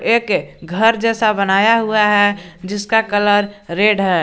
एक घर जैसा बनाया हुआ है जिसका कलर रेड है।